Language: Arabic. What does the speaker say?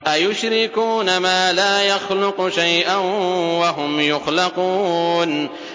أَيُشْرِكُونَ مَا لَا يَخْلُقُ شَيْئًا وَهُمْ يُخْلَقُونَ